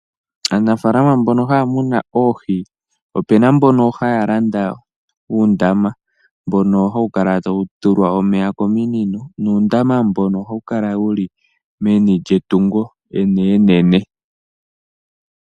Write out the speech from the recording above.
Aanafaalama mbono haya munu oohi opuna mbono hayalanda uundama mbono hawu kala tawu tulwa omeya kominino ,nuundama mbono ohawu kala wuli menilyetungo enene.